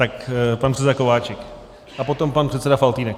Tak pan předseda Kováčik a potom pan předseda Faltýnek.